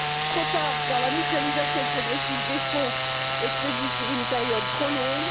trop tard, car la mutualisation progressive des fonds est prévue sur une période trop longue